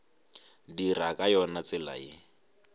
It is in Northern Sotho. dira ka yona tsela ye